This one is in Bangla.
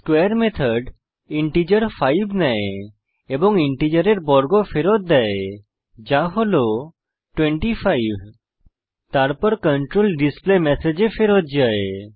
স্কোয়ারে মেথড ইন্টিজার 5 নেয় এবং ইন্টিজারের বর্গ ফেরত দেয় যা হল 25 তারপর কন্ট্রোল ডিসপ্লেমেসেজ এ ফেরত যায়